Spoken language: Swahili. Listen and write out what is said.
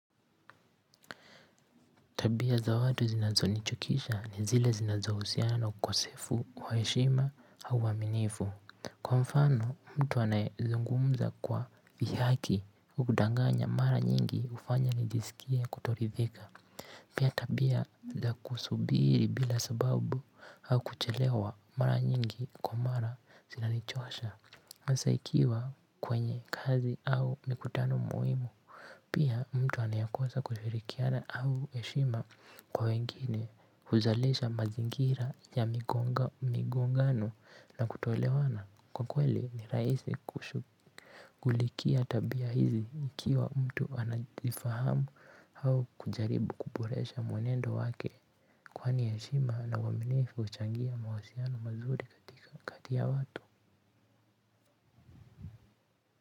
Tabia za watu zinazonichukisha ni zile zinazohusiana na ukosefu wa heshima au uaminifu kwa mfano mtu anayezungumza kwa dhihaki hudanganya mara nyingi hufanya nijisikie kutoridhika pia tabia za kusubiri bila sababu au kuchelewa mara nyingi kwa mara zinanichosha kwanza ikiwa kwenye kazi au mikutano muhimu pia mtu anayekosa kushirikiana au heshima kwa wengine huzalisha mazingira ya migongano na kutoelewana kwa kweli ni rahisi kushughulikia tabia hizi ikiwa mtu anajifahamu au kujaribu kuboresha mwenendo wake kwani heshima na uaminifu huchangia mawasiliano mazuri kati ya watu.